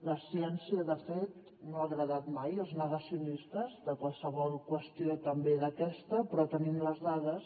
la ciència de fet no ha agradat mai als negacionistes de qualsevol qüestió també d’aquesta però tenim les dades